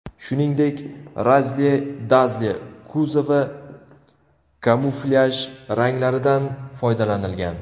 Shuningdek, Razzle Dazzle kuzovi kamuflyaj ranglaridan foydalanilgan.